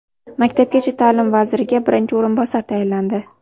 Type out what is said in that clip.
Maktabgacha ta’lim vaziriga birinchi o‘rinbosar tayinlandi.